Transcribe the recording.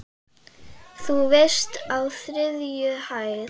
Þú veist- á þriðju hæð.